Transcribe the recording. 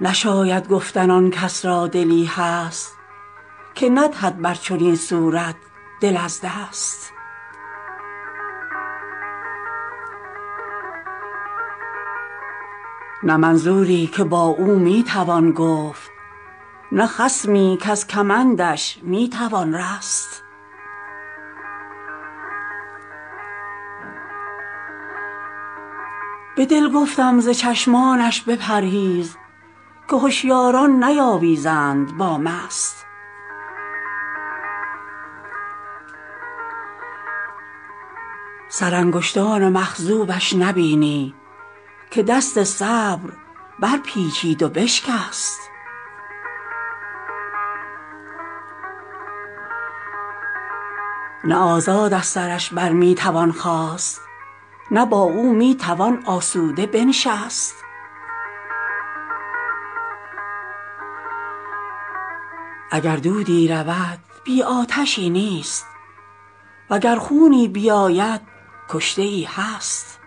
نشاید گفتن آن کس را دلی هست که ندهد بر چنین صورت دل از دست نه منظوری که با او می توان گفت نه خصمی کز کمندش می توان رست به دل گفتم ز چشمانش بپرهیز که هشیاران نیاویزند با مست سرانگشتان مخضوبش نبینی که دست صبر برپیچید و بشکست نه آزاد از سرش بر می توان خاست نه با او می توان آسوده بنشست اگر دودی رود بی آتشی نیست و گر خونی بیاید کشته ای هست